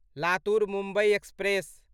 Latur Mumbai express